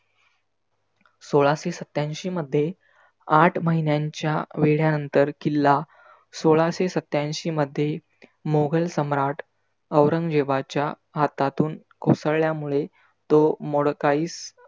सोळाशे सत्त्यांशी मध्ये आठ महिन्यांच्या वेढ्यानंतर किल्ला सोलाशे सत्त्यांशी मध्ये मोघल सम्राट औरंगजेबाच्या हातातून कोसळल्यामुळे तो मोडकाईस